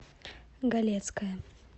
галецкая